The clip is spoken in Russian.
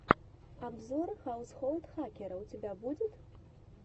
обзор хаусхолд хакера у тебя будет